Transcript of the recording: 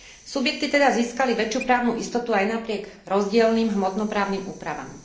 Subjekty teda získali väčšiu právnu istotu aj napriek rozdielnym hmotno právnym úpravám.